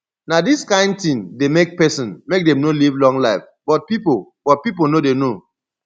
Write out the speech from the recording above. na dis kin thing dey make person make dem no live long life but people but people no dey know